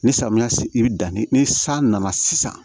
Ni samiya si bɛ danni ni san nana sisan